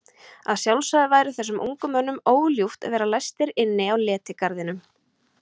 Að sjálfsögðu væri þessum ungu mönnum óljúft að vera læstir inni á letigarðinum.